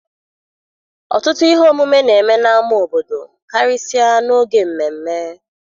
Ọtụtụ ihe omume na-eme n'ámá obodo karịsịa n'oge mmemme.